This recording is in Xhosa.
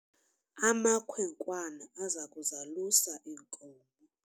amakhwenkwana aza kuzalusa iinkomo